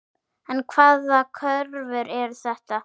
En hvaða kröfur eru þetta?